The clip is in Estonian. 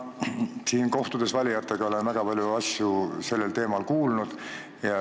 Ma olen kohtudes valijatega väga palju asju sellel teemal kuulnud.